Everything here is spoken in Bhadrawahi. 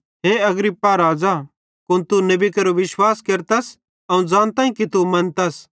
हे अग्रिप्पा राज़ा कुन तू नेबी केरो अवं ज़ानताईं कि तू मनतस